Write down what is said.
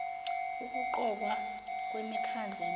ukuqokwa kwemikhandlu emikhulu